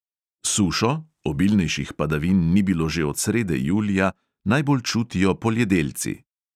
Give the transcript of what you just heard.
Sušo – obilnejših padavin ni bilo že od srede julija – najbolj čutijo poljedelci.